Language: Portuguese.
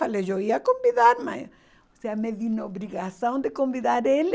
Falei, eu ia convidar, mas, ou seja, me vi na obrigação de convidar ele.